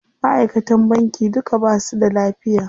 Maʼaikatan banki duka basu da lafiya.